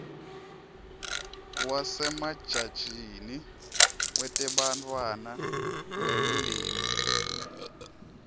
wasemajajini wetebantfwana nemindeni